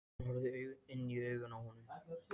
Hún horfði inn í augun á honum.